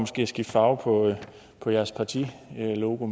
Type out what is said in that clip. skifte farve på deres partilogo